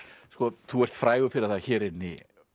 þú ert frægur fyrir það hér inni